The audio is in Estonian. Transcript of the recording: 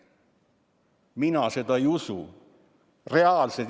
Mina seda ei usu.